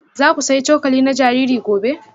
Za ku sayi cokali na jariri gobe?